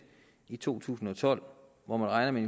i to tusind og tolv hvor man regner med